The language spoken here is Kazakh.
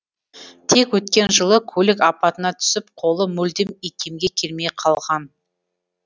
тек өткен жылы көлік апатына түсіп қолы мүлдем икемге келмей қалған